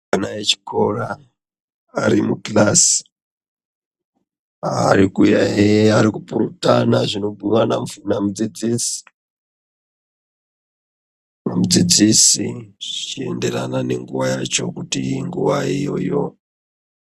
Ana echikora arimukirasi, arikuyaiya, arikupurutana zvinobhuyiwa namudzidzisi, mudzidzisi zvichienderana nguwa yacho kuti inguwai iyoyo.